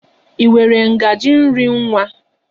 I nwere ngaji nri nwa?